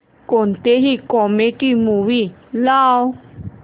कोणतीही comedy movie लाव